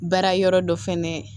Baara yɔrɔ dɔ fɛnɛ